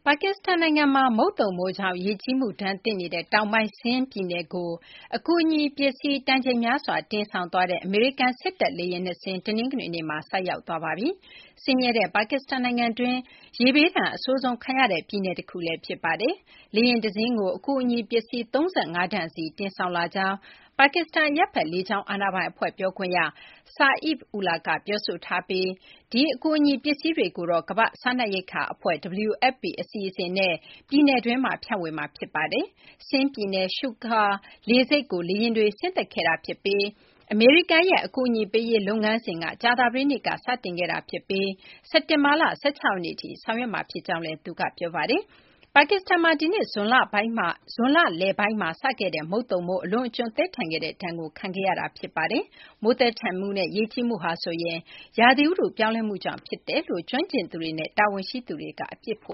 ါကစ္စတန်နိုင်ငံမှာ မုတ်သုန်မိုးကြောင့် ရေကြီးမှုဒဏ်သင့်နေတဲ့ တောင်ပိုင်း Sindh ပြည်နယ်ကို အကူအညီ ပစ္စည်း တန်ချိန်များစွာ တင်ဆောင်သွားတဲ့ အမေရိကန် စစ်တပ် လေယာဉ် နှစ်စင်း တနင်္ဂနွေနေ့မှာ ဆိုက်ရောက်သွားပါပြီ။ ဆင်းရဲတဲ့ ပါကစ္စတန် နိုင်ငံတွင်း ရေဘေးဒဏ် အဆိုးဆုံး ခံရတဲ့ ပြည်နယ် တခုလည်း ဖြစ်ပါတယ်။ လေယာဉ် တစင်းကို အကူအညီ ပစ္စည်း ၃၅ တန်စီ တင်ဆောင်လာကြောင်း ပါကစ္စတန် အရပ်ဘက် လေကြောင်း အာဏာပိုင် အဖွဲ့ ပြောခွင့်ရ Saif Ullah က ပြောဆိုထားပြီး ဒီ အကူအညီ ပစ္စည်းတွေကိုတော့ ကမ ္ဘာ့စားနပ်ရိက္ခာ အဖွဲ့ WFP အစီအစဉ်နဲ့ ပြည်နယ်တွင်းမှာ ဖြန့်ဝေမှာ ဖြစ်ပါတယ်။ Sindh ပြည်နယ် Sukkur လေဆိပ်ကို လေယာဉ်တွေ ဆင်းသက်ခဲ့တာ ဖြစ်ပြီး အမေရိကန်ရဲ့ အကူအညီ ပေးရေး လုပ်ငန်းစဉ်က ကြာသပတေးနေ့က စတင်ခဲ့တာ ဖြစ်ပြီး စက်တင်ဘာလ ၁၆ ရက်နေ့ထိ ဆောင်ရွက်မှာ ဖြစ်ကြောင်းလည်း သူက ပြောပါတယ်။ ပါကစ္စတန်မှာ ဒီနှစ် ဇွန်လလပိုင်းမှာ စခဲ့တဲ့ မုတ်သုန်မိုး အလွန်အကျွံ သည်းထန်ခဲ့တဲ့ ဒဏ်ကို ခံခဲ့ရတာ ဖြစ်ပါတယ်။ မိုးသည်းထန်မှုနဲ့ ရေကြီးမှုဟာဆိုရင် ရာသီဥတု ပြောင်းလဲမှုကြောင့် ဖြစ်တယ်လို့ ကျွမ်းကျင်သူတွေနဲ့ တာဝန်ရှိသူတွေက အပြစ်ဖ